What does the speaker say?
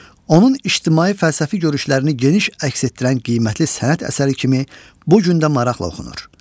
Onun ictimai fəlsəfi görüşlərini geniş əks etdirən qiymətli sənət əsəri kimi bu gün də maraqla oxunur.